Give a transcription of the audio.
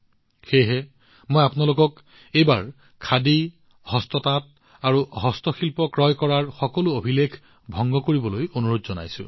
সেয়েহে মই আপোনালোকক এইবাৰ খাদী হস্ততাঁত বা হস্তশিল্প ক্ৰয় কৰাৰ সকলো ৰেকৰ্ড ভংগ কৰিবলৈ অনুৰোধ জনাইছো